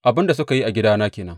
Abin da suka yi a gidana ke nan.